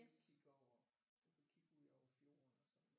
Udkig over udkig ud over fjorden og sådan noget